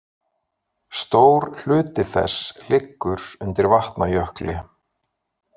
Stór hluti þess liggur undir Vatnajökli.